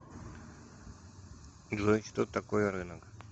джой что такое рынок